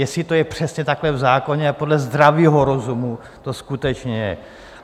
Jestli to je přesně takhle v zákoně a podle zdravého rozumu to skutečně je.